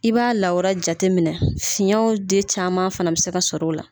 I b'a lawura jate minɛ fiyɛnw de caman fana bɛ se ka sɔrɔ u la.